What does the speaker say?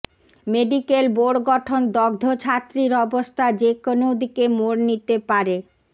medical board গঠন দগ্ধ ছাত্রীর অবস্থা যেকোনো দিকে মোড় নিতে পারে